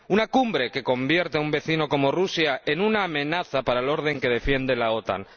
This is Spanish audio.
Una cumbre que convierte a un vecino como Rusia en una amenaza para el orden que defiende la OTAN.